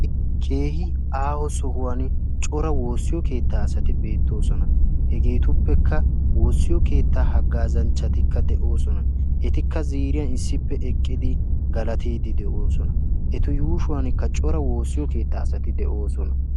keehi aaho sohuwan cora woossiyo keettaa asati beettoosona. hegeetuppekka woossiyo keettaa haggaazanchchatikka de7oosona. etikka ziiriyan issippe eqqidi galatiidi de7oosona. etu yuushuwankka cora woossiyo keettaa asati de7oosona.